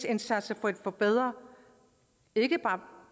indsats for at forbedre